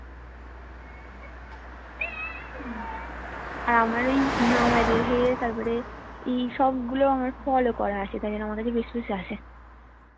আর আমার ওই নামাজের সেই ইয়ে তারপরে এইসব গুলো আমার follow করা আছে তাই জন্য আমার কাছে বেশি বেশি আসে